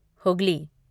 Hooghly